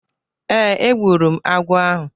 Ee, egburu m agwọ ahụ.